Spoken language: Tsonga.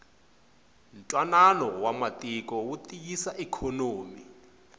ntwanano wa matiko wu tiyisa ikhonomi